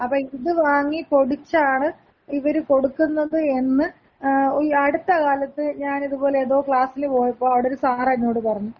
അപ്പ ഇത് വാങ്ങി പൊടിച്ചാണ് ഇവര് കൊടുക്കുന്നത് എന്ന് ഈ അടുത്ത കാലത്ത് ഞാനിത്പോല ഏതോ ക്ലാസില് പോയപ്പോ അവിടൊര് സാറ് എന്നോട് പറഞ്ഞു.